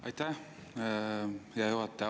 Aitäh, hea juhataja!